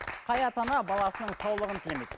қай ата ана баласының саулығын тілемейді